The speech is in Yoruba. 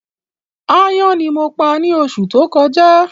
Aáyán ní mo pa ni oṣù tó kọjá